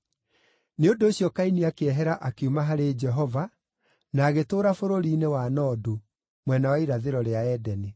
Nĩ ũndũ ũcio Kaini akĩehera akiuma harĩ Jehova, na agĩtũũra bũrũri-inĩ wa Nodu, mwena wa irathĩro rĩa Edeni.